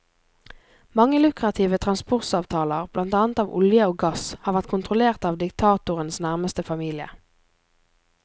Mange lukrative transportavtaler, blant annet av olje og gass, har vært kontrollert av diktatorens nærmeste familie.